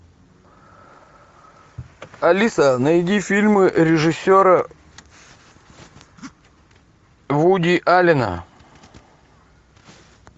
алиса найди фильмы режиссера вуди аллена